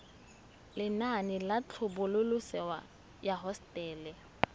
lenaane la tlhabololosewa ya hosetele